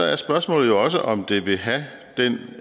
er spørgsmålet jo også om det vil have den